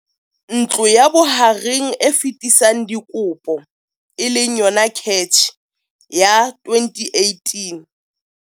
Ntlo ya Bohareng e Fetisang Dikopo e leng yona CACH ya 2018.